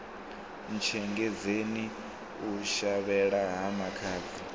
ntshengedzeni u shavhela ha makhadzi